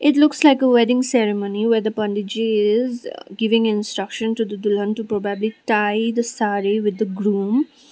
it looks like a wedding ceremony where the pandit ji is uh giving instruction to the dulhan to probably tie the saree with the groom.